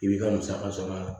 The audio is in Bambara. I b'i ka musaka sɔrɔ a la